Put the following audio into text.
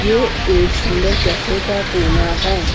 ये एक सुंदर कैफे का कोना है।